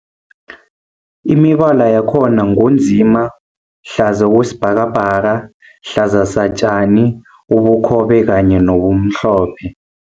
Imibala yakhona ngu nzima, hlaza okwesibhakabhaka, hlaza satjani, ubukhobe kanye nomhlophe.